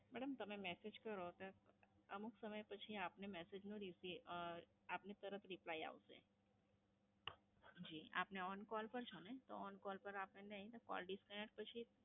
Madam તમે Message કરો તો અમુક સમય પછી આપને Message નો અમ આપને તરત Replay આવશે. જી, આપને On Call પર છો ને તો On Call પર નઈ, આપને Call Disconnect પછી